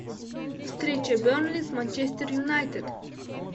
встреча бернли с манчестер юнайтед